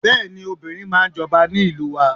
Bẹ́ẹ̀ni, obìnrin máa ń jọba ní ìlú wa.